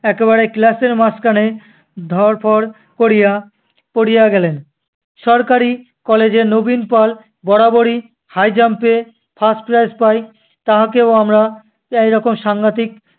একেবারে class এর মাঝখানে ধড়ফড় করিয়া পড়িয়া গেলেন। সরকারি college এ নবীন পল বরাবরই high jump এ first prize পায়, তাহাকেও আমরা এইরকম সাংঘাতিক